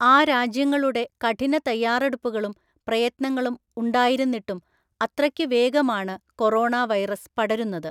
ആ രാജ്യങ്ങളുടെ കഠിന തയ്യാറെടുപ്പുകളും പ്രയത്നങ്ങളും ഉണ്ടായിരുന്നിട്ടും അത്രക്കുവേഗമാണ് കൊറോണ വൈറസ് പടരുന്നത്.